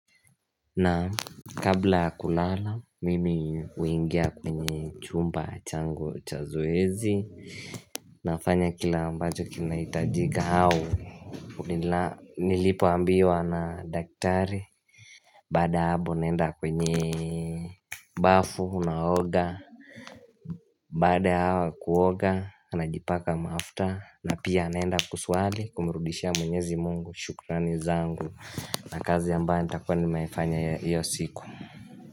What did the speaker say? Na Kabla ya kulala mimi uingia kwenye chumba changu cha zoezi Nafanya kila ambacho kina itajika au nila Nilipo ambiwa na daktari Baada habo naenda kwenyee m Bafu unaoga Baada ya awa kuoga najipaka mafta na pia naenda kusuali kumrudishia mwenyezi mungu shukrani zangu. Hh na kazi ambaye nitakua nina ifanya iya iyo siku mhh.